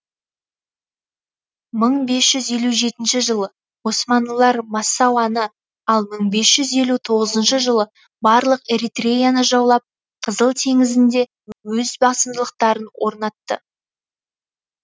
мың бес жүз елу жетінші жылы османлылар массауаны ал мың бес жүз елу тоғызыншы жылы барлық эритреяны жаулап қызыл теңізінде өз басымдылықтарын орнатты